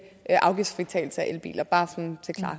afgiftsfritagelse for elbiler bare sådan